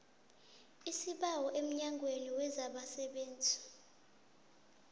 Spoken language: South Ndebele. isibawo emnyangweni wezabasebenzi